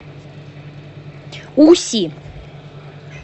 уси